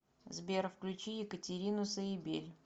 сбер включи екатерину саибель